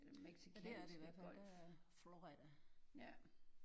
Men det er det i hvert fald der er Florida